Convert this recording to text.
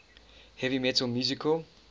heavy metal musical